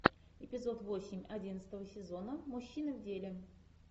эпизод восемь одиннадцатого сезона мужчины в деле